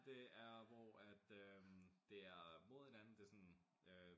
Det er hvor at øh det er mod hinanden det sådan øh